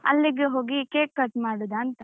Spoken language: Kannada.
ಅಲ್ಲಿಗೆ ಹೋಗಿ cake cut ಮಾಡುದಾಂತ.